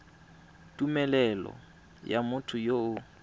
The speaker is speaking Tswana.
tumelelo ya motho yo o